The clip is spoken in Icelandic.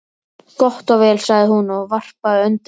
Gott og vel, sagði hún, og varpaði öndinni.